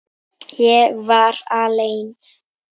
Ég var alein.